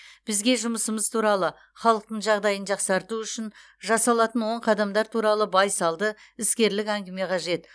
бізге жұмысымыз туралы халықтың жағдайын жақсарту үшін жасалатын оң қадамдар туралы байсалды іскерлік әңгіме қажет